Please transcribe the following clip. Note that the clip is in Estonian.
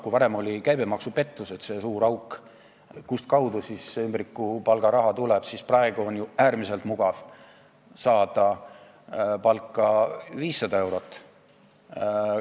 Kui varem olid käibemaksupettused see suur auk, kustkaudu see ümbrikupalga raha tuli, siis praegu on ju äärmiselt mugav saada palka 500 eurot.